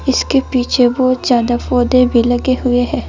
इसके पीछे बहुत ज्यादा पौधे भी लगे हुए हैं।